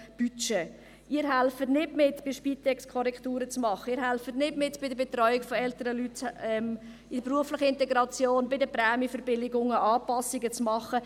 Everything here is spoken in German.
Sie helfen nicht mit, bei der Spitex Korrekturen vorzunehmen, Sie helfen nicht mit, bei der Betreuung älterer Leute, in der beruflichen Integration, bei den Prämienverbilligungen Anpassungen zu machen.